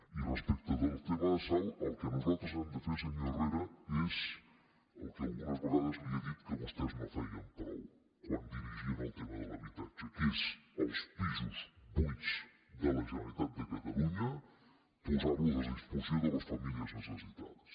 i respecte del tema de salt el que nosaltres hem de fer senyor herrera és el que algunes vegades li he dit que vostès no feien prou quan dirigien el tema de l’habitatge que és els pisos buits de la generalitat de catalunya posar los a disposició de les famílies necessitades